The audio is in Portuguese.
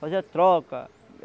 Fazia a troca.